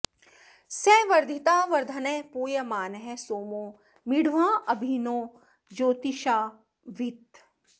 स वर्धिता वर्धनः पूयमानः सोमो मीढ्वाँ अभि नो ज्योतिषावीत्